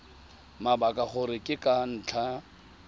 mabaka gore ke ka ntlha